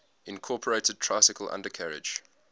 incorporated tricycle undercarriage